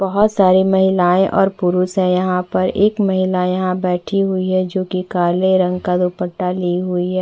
बहोत सारी महिलाएं और पुरुष है यहाँ पर एक महिला यहाँ बैठी हुई है जो कि काले रंग का दुपट्टा ली हुई है।